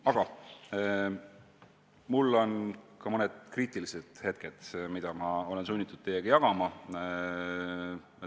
Aga mul on ka mõned kriitilised märkused, mida ma olen sunnitud teiega jagama.